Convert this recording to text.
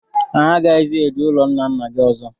Anyị aghaghịzi eje n'ụlọ ńnà ńnà gị ọzọ.